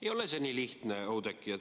Ei ole see nii lihtne, Oudekki.